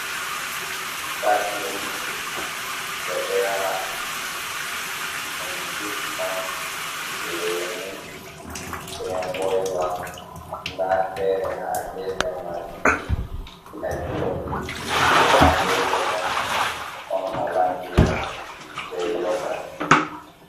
Ciivita dirinks, ɓeɗo yara ɗum jus on lemu be ngoiva, nda fere ha gefe majum exotik ha gefe bo ɗon holandiya be yogotji.